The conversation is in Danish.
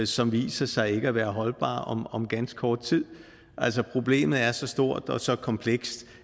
som viser sig ikke at være holdbare om ganske kort tid altså problemet er så stort og så komplekst